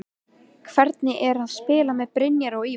Hvernig er að spila með Brynjari og Ívari?